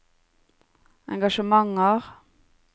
engasjementer